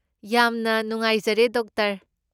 ꯌꯥꯝꯅ ꯅꯨꯡꯉꯥꯏꯖꯔꯦ, ꯗꯣꯛꯇꯔ꯫